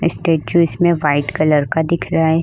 Statue इसमें white colour का दिखरा है।